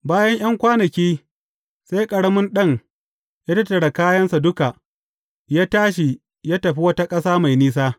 Bayan ’yan kwanaki, sai ƙaramin ɗan ya tattara kayansa duk, ya tashi ya tafi wata ƙasa mai nisa.